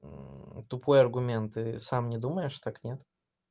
тупой аргументы сам не думаешь так нет